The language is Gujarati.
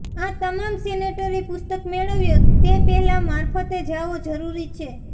આ તમામ સેનેટરી પુસ્તક મેળવ્યો તે પહેલા મારફતે જાઓ જરૂરી છે